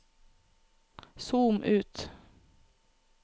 zoom ut